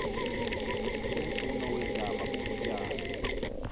umfuno weentaba bubutyani